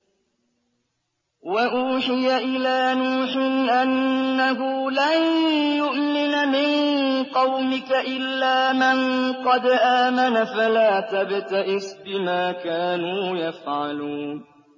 وَأُوحِيَ إِلَىٰ نُوحٍ أَنَّهُ لَن يُؤْمِنَ مِن قَوْمِكَ إِلَّا مَن قَدْ آمَنَ فَلَا تَبْتَئِسْ بِمَا كَانُوا يَفْعَلُونَ